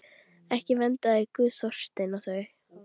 Ekki verndaði Guð Þorstein og þau.